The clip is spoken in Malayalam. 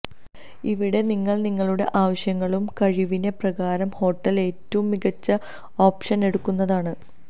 ഇവിടെ നിങ്ങൾ നിങ്ങളുടെ ആവശ്യങ്ങളും കഴിവിനെ പ്രകാരം ഹോട്ടൽ ഏറ്റവും മികച്ച ഓപ്ഷൻ എടുക്കുന്നതാണ്